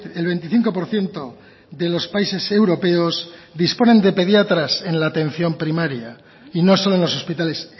el veinticinco por ciento de los países europeos disponen de pediatras en la atención primaria y no solo en los hospitales